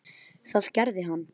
Það gerði hann.